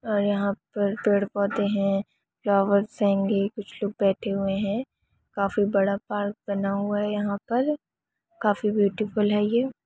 और यहाँ पर पेड़- पौधे है फ्लावर्स हेंगे कुछ लोग बैठे हुए हैं काफी बड़ा पार्क बना हुआ है यहां पर काफी ब्यूटीफुल है ये --